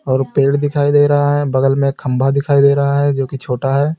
और पेड़ दिखाई दे रहा है बगल में एक खंबा दिखाई दे रहा है जोकि छोटा है।